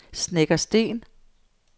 Snekkersten